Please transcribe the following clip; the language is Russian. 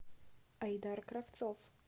айдар кравцов